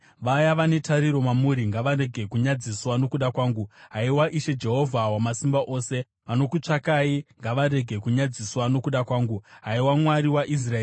Vaya vane tariro mamuri ngavarege kunyadziswa nokuda kwangu, haiwa Ishe, Jehovha Wamasimba Ose; vanokutsvakai ngavarege kunyadziswa nokuda kwangu, haiwa Mwari waIsraeri.